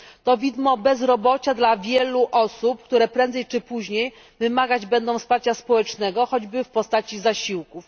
To widmo bezrobocia dla wielu osób, które prędzej czy później wymagać będą wsparcia społecznego, choćby w postaci zasiłków.